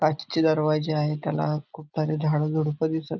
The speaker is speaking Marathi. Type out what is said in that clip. काचचे दरवाजे आहे त्याला खूप सारे झाडझुडपं दिसत--